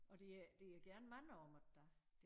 Og de er gerne mange om det da